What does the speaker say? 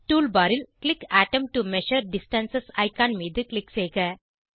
tool bar ல் click அட்டோம் to measure distance icon மீது க்ளிக் செய்க